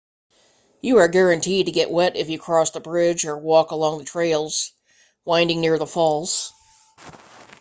you are guaranteed to get wet if you cross the bridge or walk along the trails winding near the falls